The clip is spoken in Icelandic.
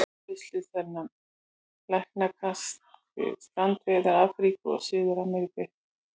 Útbreiðslu þeirra takmarkast við strandsvæði Afríku og Suður-Ameríku en einnig finnast þessi dýr á Arabíuskaga.